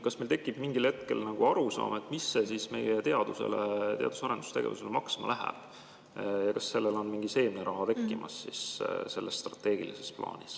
Kas meil tekib mingil hetkel arusaam, mis see meie teadus- ja arendustegevusele maksma läheb ja kas sellel on strateegilises plaanis mingi seemneraha tekkimas?